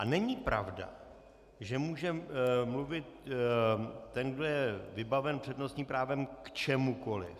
A není pravda, že může mluvit ten, kdo je vybaven přednostním právem, k čemukoliv.